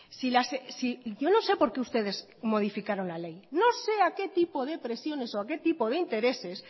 si yo no sé por qué ustedes modificaron la ley no sé a qué tipo de presiones o a qué tipo de intereses